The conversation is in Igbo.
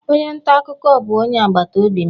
Onye nta akụkọ bụ onye agbata obi m.